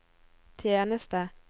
tjeneste